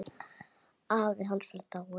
Afi hans var dáinn.